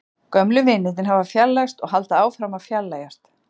Gömlu vinirnir hafa fjarlægst og halda áfram að fjarlægjast.